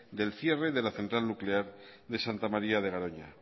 del cierre de la central nuclear de santa maría de garoña